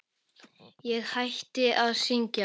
Ég hætti að syngja.